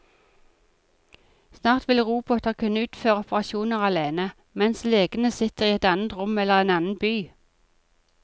Snart vil roboter kunne utføre operasjoner alene, mens legene sitter i et annet rom eller en annen by.